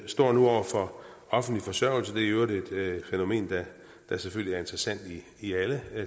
står nu over for offentlig forsørgelse det er i øvrigt et fænomen der selvfølgelig er interessant i alle